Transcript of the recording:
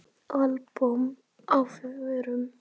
Albúmin á förum.